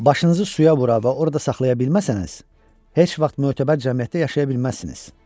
"Başınızı suya vura və orada saxlaya bilməsəniz, heç vaxt mötəbər cəmiyyətdə yaşaya bilməzsiniz."